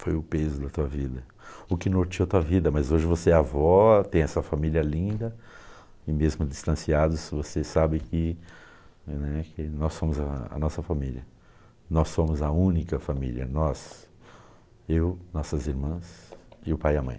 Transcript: Foi o peso da tua vida, o que notou a tua vida, mas hoje você é avó, tem essa família linda e mesmo distanciados você sabe que né, que nós somos a nossa família, nós somos a única família, nós, eu, nossas irmãs e o pai e a mãe.